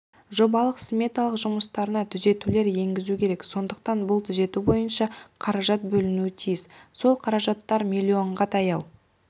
жобалық-сметалық жұмыстарына түзетулер енгізу керек сондықтан бұл түзету бойынша қаражат бөлінуі тиіс сол қаражаттар миллионға таяу